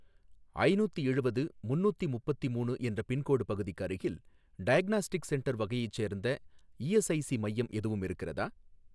ஐநூத்தியெழுவது முன்னூத்திமுப்பத்திமூணு என்ற பின்கோடு பகுதிக்கு அருகில் டயக்னாஸ்டிக் சென்டர் வகையைச் சேர்ந்த இஎஸ்ஐஸி மையம் எதுவும் இருக்கிறதா?